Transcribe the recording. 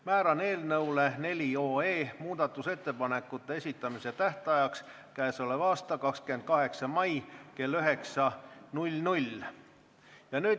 Määran muudatusettepanekute esitamise tähtajaks k.a 28. mai kell 9.